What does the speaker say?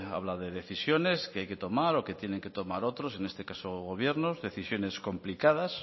habla de decisiones que hay que tomar o que tienen que tomar otros en este caso el gobierno decisiones complicadas